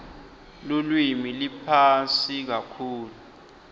lulwimi liphasi kakhulu